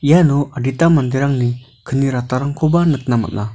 iano adita manderangni kni ratarangkoba nikna man·a.